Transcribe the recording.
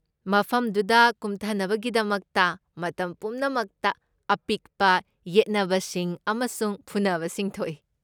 ꯃꯐꯝꯗꯨꯗ ꯀꯨꯝꯊꯅꯕꯒꯤꯗꯃꯛꯇ ꯃꯇꯝ ꯄꯨꯝꯅꯃꯛꯇ ꯑꯄꯤꯛꯄ ꯌꯦꯠꯅꯕꯁꯤꯡ ꯑꯃꯁꯨꯡ ꯐꯨꯅꯕꯁꯤꯡ ꯊꯣꯛꯏ꯫